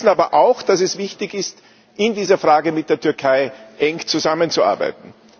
Wir wissen aber auch, dass es wichtig ist, in dieser Frage eng mit der Türkei zusammenzuarbeiten.